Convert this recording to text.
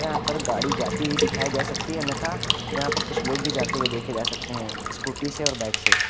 यहां पर गाड़ी जाती हुई दिखाई जा सकती है अन्यथा यहां पर कुछ लोग भी जाते हुए देखे जा सकते हैं स्कूटी से और बाइक से।